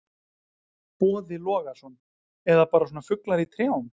Boði Logason: Eða bara svona fuglar í trjám?